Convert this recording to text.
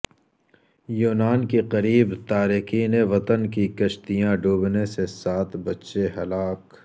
یونان کے قریب تارکین وطن کی کشتیاں ڈوبنے سے سات بچے ہلاک